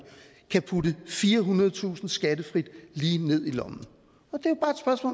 kan putte firehundredetusind kroner skattefrit lige ned i lommen